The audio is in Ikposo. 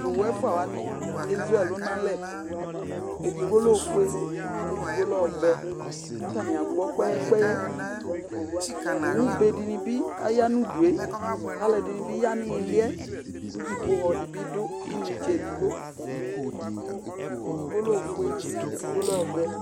to owu ɛfua wani ezu ɛlo no alɛ edigbo lɛ ofue ko edigbo lɛ ɔvɛ ko atani agbɔ kpɛyɛ kpɛyɛ owu be di ni bi ya no udu yɛ ko alo ɛdini bi ya no ili yɛ ko dziƒohɔ di bi do inetse edigbo edigbo lɛ ofue ko edigbo lɛ ɔvɛ